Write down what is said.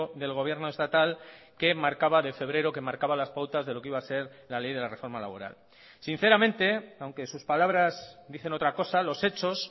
del gobierno estatal que marcaba de febrero que marcaba las pautas de lo que iba a ser la ley de la reforma laboral sinceramente aunque sus palabras dicen otra cosa los hechos